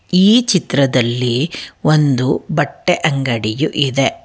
ಈ ಚಿತ್ರದಲ್ಲಿ ಒಂದು ಬಟ್ಟೆ ಅಂಗಡಿಯು ಇದೆ ಆ--